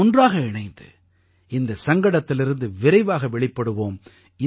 நாம் ஒன்றாக இணைந்து இந்த சங்கடத்திலிருந்து விரைவாக வெளிப்படுவோம்